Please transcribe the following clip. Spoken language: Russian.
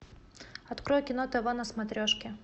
открой кино тв на смотрешке